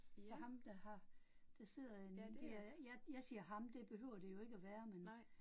For ham, der har placeret en det er, ja, jeg siger ham, det behøver det jo ikke at være men